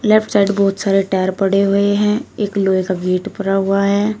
Left side बहुत सारे tyre पड़े हुए हैं एक लोहे का गेट पड़ा हुआ है।